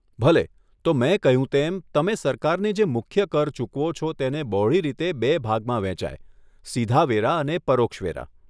ભલે, તો મેં કહ્યું તેમ, તમે સરકારને જે મુખ્ય કર ચૂકવો છો તેને બહોળી રીતે બે ભાગમાં વહેંચાય, સીધા વેરા અને પરોક્ષ વેરા.